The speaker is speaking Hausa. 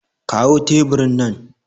kawo teburin nan